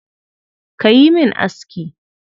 Ka yi min aski.